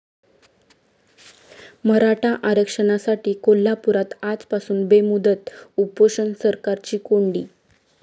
मराठा आरक्षणासाठी कोल्हापुरात आजपासून बेमुदत उपोषण, सरकारची कोंडी